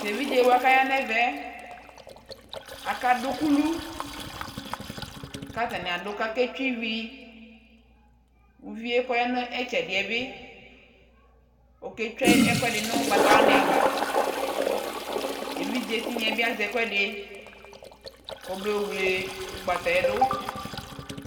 Tʊ evidzewa kʊ aya nʊ ɛmɛ akadʊ ukulu, kʊ atanɩ adʊ kʊ aketsue ivi, uvi yɛ kʊ ɔya nʊ itsedɩ yɛ bɩ oketsue ɛkuɛdɩ nʊ ugbatawanɩ ava, evidze tinya yɛ bɩ azɛ ɛkuɛdɩ, kɔmayɔ wle ugbata yɛ dʊ